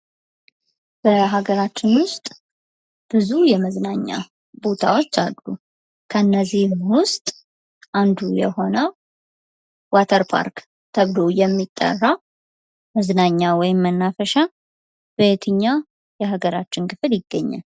በሀገራችን ውስጥ ብዙ የመዝናኛ ቦታዎች አሉ ከነዚህም ውስጥ አንዱ የሆነው ዋተር ባርክ ተብሎ የሚጠራ መናፈሻ በየትኛው የሀገራችን ክፍል ይገኛል?